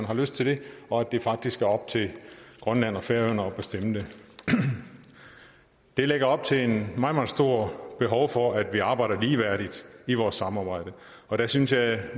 har lyst til det og at det faktisk er op til grønland og færøerne selv at bestemme det det lægger op til meget meget stor behov for at vi arbejder ligeværdigt i vores samarbejde og der synes jeg